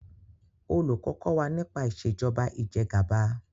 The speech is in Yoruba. olùkó kò wá nipa Ìṣèjọba Ìjẹgàba